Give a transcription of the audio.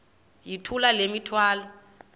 yithula le mithwalo